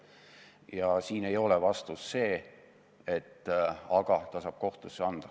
Ja siin ei ole vastus see, et aga ta saab kohtusse pöörduda.